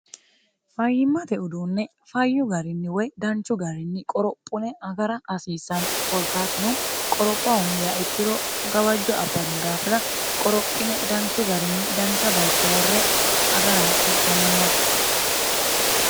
fayyimmate uduunne fayyu garinni woy danchu garinni qorophune agara hasiissanno kolkaatuno qoropha hundiya ikkiro gawajjo abanno daafina qorophine danchu garinni dancha bayicho worre agara hasiissanno yaate